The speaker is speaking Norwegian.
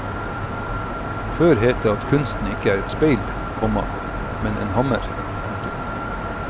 Før het det at kunsten ikke er et speil, komma men en hammer. punktum